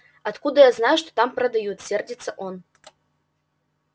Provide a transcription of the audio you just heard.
откуда я знаю что там продают сердится он